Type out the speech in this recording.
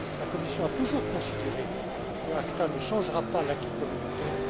La Commission a toujours considéré qu'ACTA ne changera pas l'acquis communautaire.